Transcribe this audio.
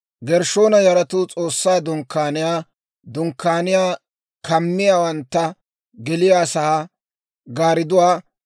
Gershshoona yaratuu S'oossaa Dunkkaaniyaa, Dunkkaaniyaa kammiyaawantta geliyaasaa gaaridduwaa,